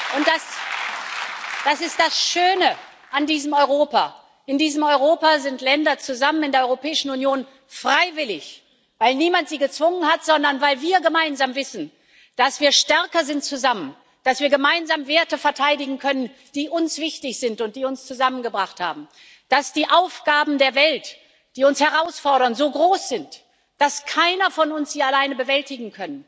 Und das ist das Schöne an diesem Europa In diesem Europa sind Länder freiwillig in der Europäischen Union zusammen, weil niemand sie gezwungen hat, sondern weil wir gemeinsam wissen, dass wir zusammen stärker sind, dass wir gemeinsam Werte verteidigen können, die uns wichtig sind und die uns zusammengebracht haben, dass die Aufgaben der Welt, die uns herausfordern, so groß sind, dass keiner von uns sie alleine bewältigen